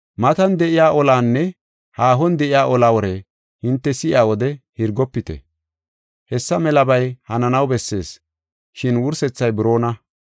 Matan de7iya olaanne haahon de7iya ola wore hinte si7iya wode hirgofite. Hessa melabay hananaw bessees, shin wursethay buroona.